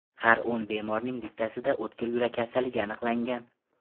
Har o‘n bemorning bittasida o‘tkir yurak kasalligi aniqlangan.